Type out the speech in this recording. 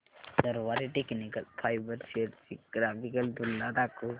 Garware technical fibres shares ची graphical तुलना दाखव